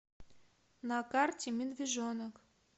на карте медвежонок